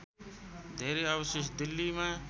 धेरै अवशेष दिल्लीमा